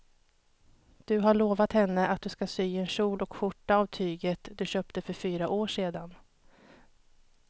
Du har lovat henne att du ska sy en kjol och skjorta av tyget du köpte för fyra år sedan.